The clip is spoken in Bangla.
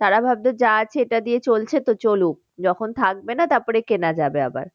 তারা ভাবতো যা আছে এটা দিয়ে চলছে তো চলুক যখন থাকবে না তারপরে কেনা যাবে আবার।